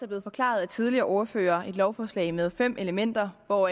blevet forklaret af tidligere ordførere et lovforslag med fem elementer hvor